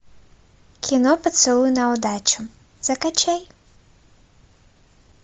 кино поцелуй на удачу закачай